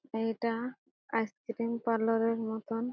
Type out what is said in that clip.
এইটা ice cream parlour এর মতন --